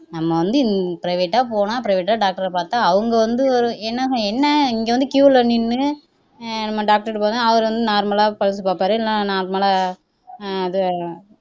நம்ம வந்து private ஆ போனா private ஆ doctor ஐ பாத்தா அவங்க வந்து என்ன இங்க வந்து queue ல நின்னு ஹம் நம்ம doctor கிட்ட போனா அவர் வந்து normal ஆ pulse பாப்பாரு இல்லேனா normal ஆ அஹ் இது